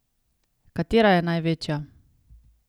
Katera je največja?